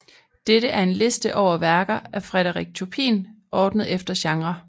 Dette er en liste over værker af Frédéric Chopin ordnet efter genre